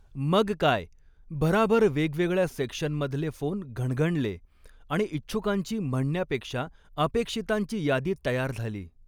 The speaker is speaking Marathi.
मग काय, भराभर वेगवेगळ्या सेक्शनमधले फोन घणघणले आणि इच्छुकांची म्हणण्यापेक्षा अपेक्षितांची यादी तयार झाली.